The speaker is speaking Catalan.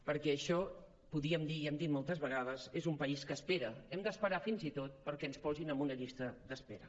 perquè això podríem dir i hem dit moltes vegades és un país que espera hem d’esperar fins i tot perquè ens posin en una llista d’espera